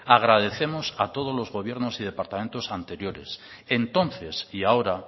agradecemos a todos los gobiernos y departamentos anteriores entonces y ahora